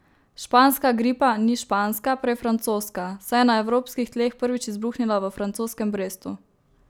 Španska gripa ni španska, prej francoska, saj je na evropskih tleh prvič izbruhnila v francoskem Brestu.